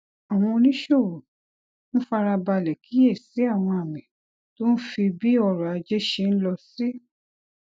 àwọn oníṣòwò ń fara balè kíyè sí àwọn àmì tó ń fi bí ọrò ajé ṣe ń lọ sí